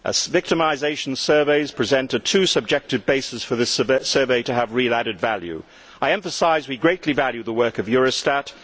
Victimisation surveys present too subjective a basis for this survey to have real added value. I emphasise that we greatly value the work of Eurostat.